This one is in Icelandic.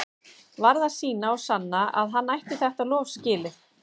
Varð að sýna og sanna að hann ætti þetta lof skilið.